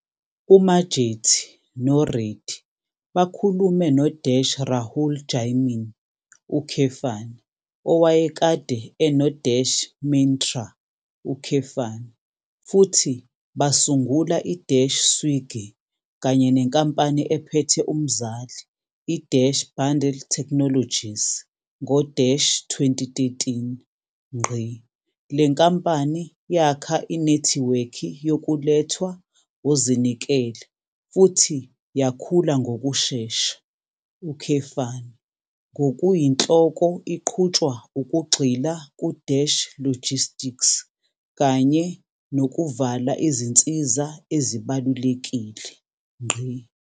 UMajety noReddy bakhulume no-Rahul Jaimini, owayekade eno- Myntra, futhi basungula i-Swiggy kanye nenkampani ephethe umzali i-Bundl Technologies ngo-2013. Le nkampani yakha inethiwekhi yokulethwa ozinikele futhi yakhula ngokushesha, ngokuyinhloko iqhutshwa ukugxila ku-logistics kanye nokuvala izinsiza ezibalulekile.